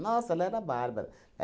Nossa, ela era bárbara.